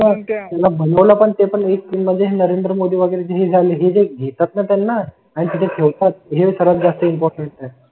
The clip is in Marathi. म्हणते पण एकमध्ये नरेंद्र, मोदी वगैरे झाली हे घेतात ना त्यांना आणि ठेवतात हे सर्वात जास्त इम्पॉर्टंट आहे.